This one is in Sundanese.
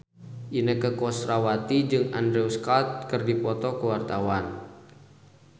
Inneke Koesherawati jeung Andrew Scott keur dipoto ku wartawan